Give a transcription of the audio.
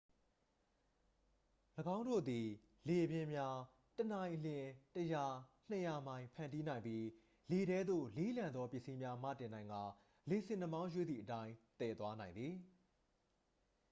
၎င်းတို့သည် လေပြင်းများ တစ်နာရီလျှင် ၁၀၀-၂၀၀ မိုင် ဖန်တီးနိုင်ပြီး လေထဲသို့ လေးလံသော ပစ္စည်းများမတင်နိုင်ကာ လေဆင်နှာမောင်းရွေ့သည့်အတိုင်း သယ်သွားနိုင်သည်။